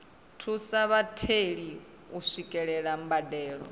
thusa vhatheli u swikelela mbadelo